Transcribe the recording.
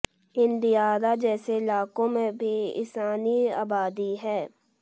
इन दियारा जैसे इलाको में भी इंसानी आबादी है